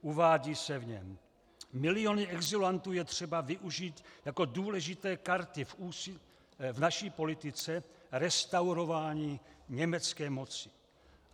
Uvádí se v něm: Miliony exulantů je třeba využít jako důležité karty v naší politice restaurování německé moci.